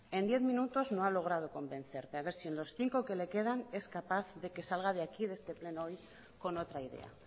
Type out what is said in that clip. en diez minutos no ha logrado convencerme a ver si en los cinco que le quedan es capaz de que salga de aquí de este pleno hoy con otra idea